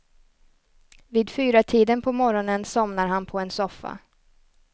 Vid fyratiden på morgonen somnar han på en soffa.